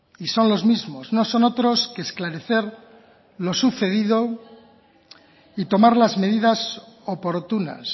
y son los mismos no son otros que esclarecer lo sucedido y tomar las medidas oportunas